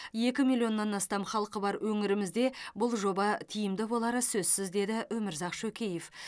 екі миллионнан астам халқы бар өңірімізде бұл жоба тиімді болары сөзсіз деді өмірзақ шөкеев